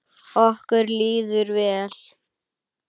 Okkur líður vel.